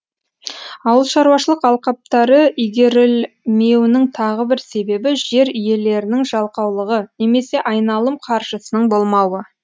ауылшаруашылық алқаптары игерілмеуінің тағы бір себебі жер иелерінің жалқаулығы немесе айналым қаржысының болмауы